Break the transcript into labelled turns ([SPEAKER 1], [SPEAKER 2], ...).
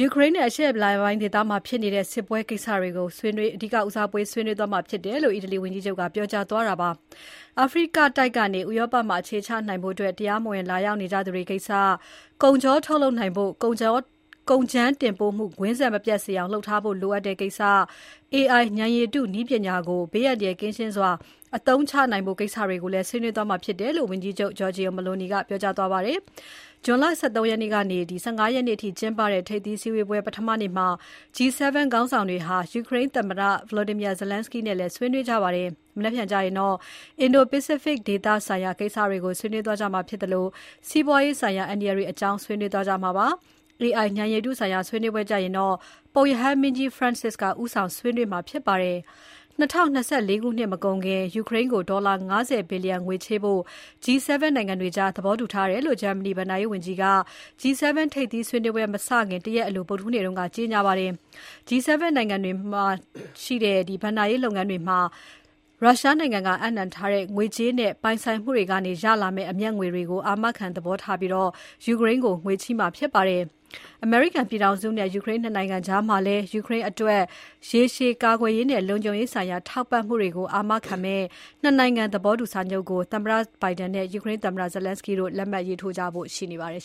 [SPEAKER 1] ူကရိန်းနဲ့ အရှေ့အလယ်ပိုင်းဒေသမှာ ဖြစ်နေတဲ့ စစ်ပွဲကိစ္စတွေက ဆွေးနွေးပွဲမှာ ဦးစားပေးဆွေးနွေးသွားမှာဖြစ်တယ်"လို့ ပြောကြားသွားပါတယ်။ အာဖရိကတိုက်ကနေ ဥရောပမှာ အခြေချနိုင်ဖို့ တရားမဝင် လာရောက်နေကြသူတွေကိစ္စ၊ ကုန်ချောထုတ်လုပ်နိုင်ဖို့ ကုန်ကြမ်းတင်ပို့မှု ကွင်းဆက်မပြတ်စေအောင် လုပ်ထားဖို့လိုအပ်တဲ့ကိစ္စ၊ AI ဉာဏ်ရည်တုနည်းပညာကို ဘေးအန္တရာယ်ကင်းစွာ အသုံးချနိုင်ဖို့ ကိစ္စတွေကိုလည်း ဆွေးနွေးကြမှာဖြစ်တယ်လို့ ဝန်ကြီးချုပ် Giorgia Meloni ကပြောကြားခဲ့ပါတယ်။ ဇွန်လ ၁၃ ရက်ကနေ ၁၅ ရက်နေ့အထိ ကျင်းပတဲ့ ထိပ်သီးစည်းဝေးပွဲ ပထမနေ့မှာပဲ G-7 ခေါင်းဆောင်တွေဟာ ယူကရိန်းသမ္မတ Volodymyr Zelenskiy နဲ့လည်း ဆွေးနွေးကြပါတယ်။ မနက်ဖြန်ကျရင်တော့ အင်ဒို ပိစိဖတ်ဒေသဆိုင်ရာ ကိစ္စတွေကို ဆွေးနွေးကြမှာဖြစ်သလို စီးပွားရေးဆိုင်ရာ အန္တရာယ်တွေအကြောင်း ဆွေးနွေးကြမှာဖြစ်ပါတယ်။ AI ဉာဏ်ရည်တုဆိုင်ရာ ဆွေးနွေးပွဲကျရင်တော့ ပုပ်ရဟန်းမင်းကြီး Francis က ဦးဆောင်ဆွေးနွေးသွားမှာဖြစ်ပါတယ်။ ၂၀၂၄ ခုနှစ်မကုန်ခင် ယူကရိန်းကို ဒေါ်လာ ၅၀ ဘီလျံငွေချေးဖို့ G7 နိုင်ငံတွေကြား သဘောတူထားတယ်လို့ ဂျာမနီဘဏ္ဍာရေးဝန်ကြီးက G-7 ထိပ်သီးစည်းဝေးပွဲ မစခင် ၁ ရက်အလို ဗုဒ္ဓဟူးနေ့က ကြေညာခဲ့ပါတယ်။ G-7 နိုင်ငံတွေမှာရှိတဲ့ ဘဏ္ဍာရေးလုပ်ငန်းတွေမှာ ရုရှားနိုင်ငံက အပ်နှံထားတဲ့ ငွေကြေးနဲ့ ပိုင်ဆိုင်မှုတွေကနေ ရလာမယ့် အမြတ်ငွေတွေကို အာမခံသဘောထားပြီး ယူကရိန်းကို ငွေချေးမှာဖြစ်ပါတယ်။ အမေရိကန်ပြည်ထောင်စုနဲ့ ယူကရိန်း ၂ နိုင်ငံကြားမှာလည်း ယူကရိန်းအတွက် ရေရှည် ကာကွယ်ရေးနဲ့ လုံခြုံရေးဆိုင်ရာ ထောက်ပံ့မှုတွေကို အာမခံတဲ့ ၂ နိုင်ငံသဘောတူစာချုပ်ကို သမ္မတ Biden နဲ့ ယူကရိန်းသမ္မတ Zelenskiy တို့ လက်မှတ်ထိုးကြဖို့ရှိပါတယ်